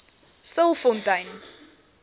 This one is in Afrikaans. stilfontein